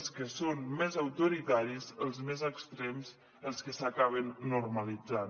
els que són més autoritaris els més extrems els que s’acaben normalitzant